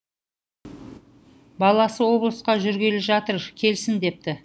баласы облысқа жүргелі жатыр келсін депті